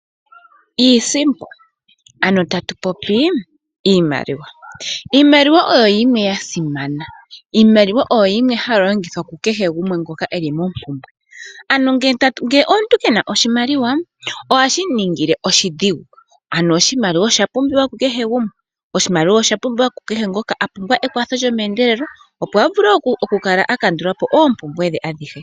Iisimpo, ano tatu popi iimaliwa. Iimaliwa oyo yimwe ya simana. Iimaliwa ohayi longithwa kukehe ngoka e li mompumbwe. Omuntu ngele ke na oshimaliwa ohashi mu ningile oshidhigu. Oshimaliwa osha pumbiwa ku kehe gumwe. Oshimaliwa osha pumbiwa ku kehe ngoka a pumbwa ekwatho lyomeendelelo, opo a vule okukala a kandula po oompumbwe dhe adhihe.